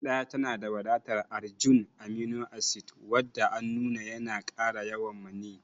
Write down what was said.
Gyada tanada wadatar arginine, amino acid wanda an nuna yana kara yawan maniyyi.